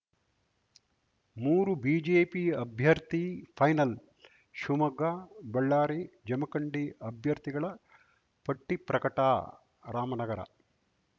ಮೂರು ಬಿಜೆಪಿ ಅಭ್ಯರ್ಥಿ ಫೈನಲ್‌ ಶಿವಮೊಗ್ಗ ಬಳ್ಳಾರಿ ಜಮಖಂಡಿ ಅಭ್ಯರ್ಥಿಗಳ ಪಟ್ಟಿಪ್ರಕಟ ರಾಮನಗರ